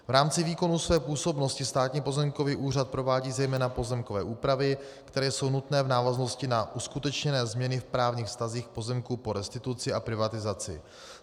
V rámci výkonu své působnosti Státní pozemkový úřad provádí zejména pozemkové úpravy, které jsou nutné v návaznosti na uskutečněné změny v právních vztazích pozemků po restituci a privatizaci.